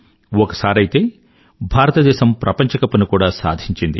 ఒకసారైతే భారతదేశం ప్రపంచ కప్ ని కూడా సాధించింది